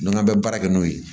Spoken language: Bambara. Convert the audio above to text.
N'an bɛ baara kɛ n'o ye